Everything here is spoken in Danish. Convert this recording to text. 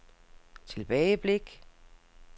tilbageblik